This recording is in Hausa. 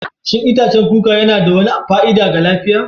Shin itacen kuka yana da wani fa'ida ga lafiya?